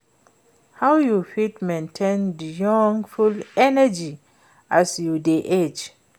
How you fit maintain di youthful energy as you dey age?